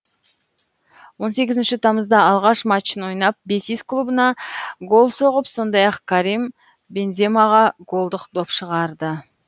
он сегізінші тамызда алғаш матчын ойнап бетис клубына гол соғып сондай ақ карим бенземаға голдық доп шығарды